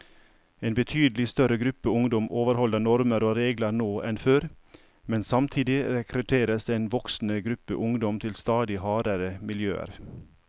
En betydelig større gruppe ungdom overholder normer og regler nå enn før, men samtidig rekrutteres en voksende gruppe ungdom til stadig hardere miljøer.